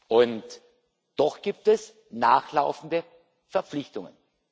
Und doch gibt es nachlaufende Verpflichtungen.